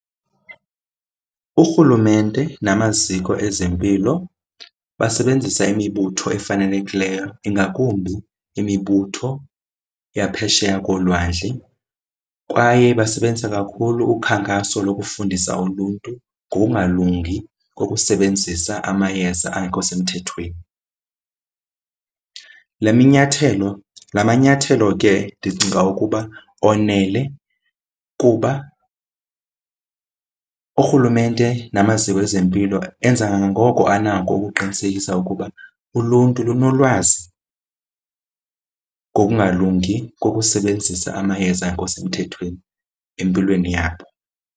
Urhulumente namaziko ezempilo basebenzisa imibutho efanelekileyo, ingakumbi imibutho yaphesheya kolwandle. Kwaye basebenzise kakhulu ukhankaso lokufundisa uluntu ngokungalungi kokusebenzisa amayeza angekho semthethweni. Le minyathelo, la manyathelo ke ndicinga ukuba onele kuba urhulumente namaziko ezempilo enza kangangoko anako ukuqinisekisa ukuba uluntu lunolwazi ngokungalungi kokusebenzisa amayeza angekho semthethweni empilweni yabo.